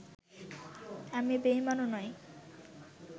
আমি বেঈমানও নই